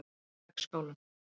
Vegskálum